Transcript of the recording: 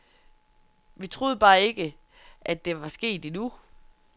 Vi troede bare ikke, at det var sket endnu.